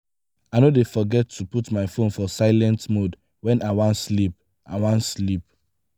i no dey forget to put my fone for silent mode wen i wan sleep. i wan sleep.